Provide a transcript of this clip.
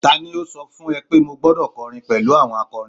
tani o so fun e pe mo gbọdọ kọrin pẹlu àwọn akọrin